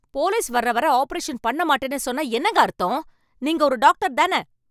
Police வர்ற வரை operation பண்ண மாட்டேன்னு சொன்னா என்னங்க அர்த்தம்? நீங்க ஒரு டாக்டர் தானே?